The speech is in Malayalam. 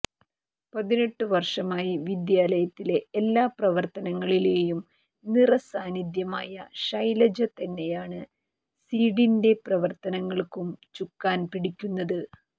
പതിനെട്ടുവര്ഷമായി വിദ്യാലയത്തിലെ എല്ലാ പ്രവര്ത്തനങ്ങളിലെയും നിറസാന്നിധ്യമായ ഷൈലജ തന്നെയാണ് സീഡിന്റെ പ്രവര്ത്തനങ്ങള്ക്കും ചുക്കാന് പിടിക്കുന്നത്